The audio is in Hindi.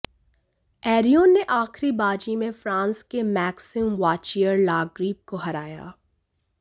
एरोनियन ने आखिरी बाजी में फ्रांस के मैक्सिम वाचियर लाग्रीव को हराया